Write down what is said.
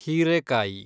ಹೀರೇಕಾಯಿ